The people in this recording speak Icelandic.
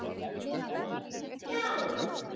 SKÚLI: Já!